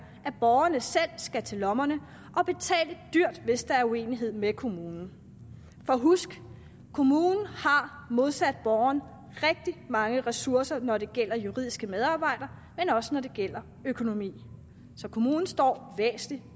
at borgerne selv skal til lommerne og betale dyrt hvis der er uenighed med kommunen for husk kommunen har modsat borgeren rigtig mange ressourcer når det gælder juridiske medarbejdere men også når det gælder økonomi så kommunen står væsentlig